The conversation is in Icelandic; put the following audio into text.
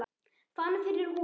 Fann fyrir húfu